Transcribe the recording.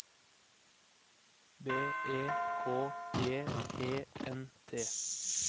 B E K J E N T